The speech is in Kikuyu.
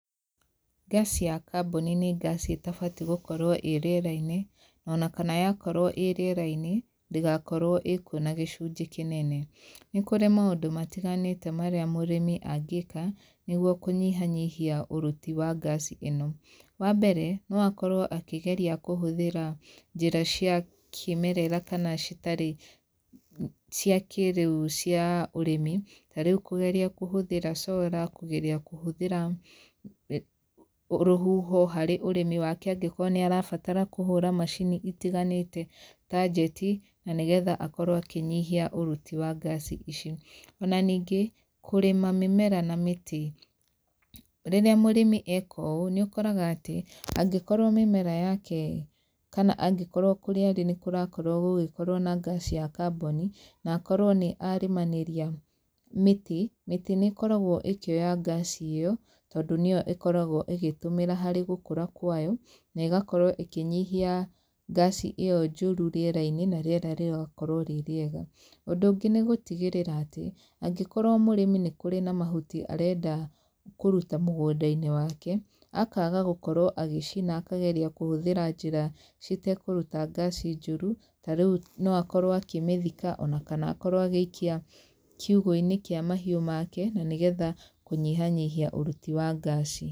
Ngaci ya kaboni nĩ ngaci ĩtabatiĩ gũkorwo ĩ rĩerainĩ ona kana yakorwo i rĩeraini ndĩgakorwo ĩkũo na gĩcunjĩ kĩnene. Nĩ kũrĩ maũndũ matiganĩte marĩa mũrĩmi angĩka nĩguo kũnyihanyihia ũruti wa ngaci ĩno wa mbere no akorwo akĩgeria kũhũthĩra njĩra cia kĩemerera kana citarĩ cia kĩrĩu cia ũrĩmi, tarĩu kũgeria kũhũthĩra cora, kũngeria kũhũthĩra rũhuho harĩ ũrĩmi wake angĩkorwo nĩ arabatara kũhũra macini citganĩte ta njeti na nĩgetha akorwo akĩnyihia ũruti wa ngaci ici. Ona ningĩ kũrĩma mĩmera na mĩtĩ, rĩrĩa mũrĩmi eka ũũ nĩ ũkoraga atĩ angĩkorwo mĩmera yake kana angĩkorwo kũrĩa arĩ nĩ kũrakorwo gũgĩkorwo na ngaci ya kaboni na akorwo nĩ arĩmanĩria mĩti, mĩtĩ nĩ ĩkoragwo ĩkĩoya ngaci ĩyo tondũ nĩyo ĩkoragwo ĩgĩtumĩra harĩ gũkũra kwayo na ĩgakorwo ĩkĩnyihia ngaci ĩyo njũru rĩerainĩ na rĩera rĩgakorwo rĩ rĩega. Ũndũ ũngĩ nĩ gũtigĩrĩra atĩ angĩkorwo mũrĩmi nĩ kũrĩ na mahuti arenda kũruta mũgũnda-inĩ wake akaga gũkorwo agĩcina na akageria kũhũthĩra njĩra citekũruta ngaci njũru, tarĩu no akorwo akĩmĩthika ona kana akorwo agĩikia kiũgo-inĩ kĩa mahiũ make na nĩgetha kũnyihanyihia ũruti wa ngaci.